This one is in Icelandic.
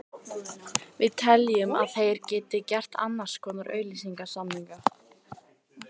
Við teljum að þeir geti gert annars konar auglýsingasamninga.